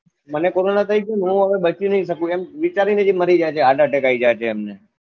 મને કોરોના થઇ ગયો હું હવે બચી નઈ સકું એમ વિચારી ની જ એ મરી જાયે છે હાર્ટ એટક આઈ જાયે છે એમને